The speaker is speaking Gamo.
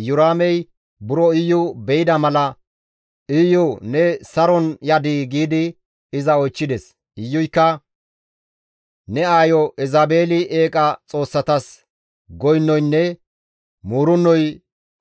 Iyoraamey buro Iyu be7ida mala, «Iyu ne saron yadii?» giidi iza oychchides. Iyuykka, «Ne aayo Elzabeeli eeqa xoossatas goynoynne muurennoy